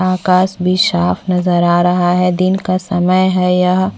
आकाश भी साफ नज़र आ रहा है दिन का समय है यह--